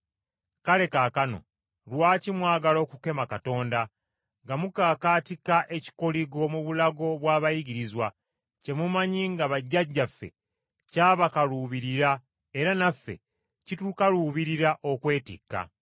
Kale kaakano, lwaki mwagala okukema Katonda nga mukakaatika ekikoligo mu bulago bw’abayigirizwa, kye mumanyi nga bajjajjaffe kyabakaluubirira era naffe kitukaluubirira okwetikka?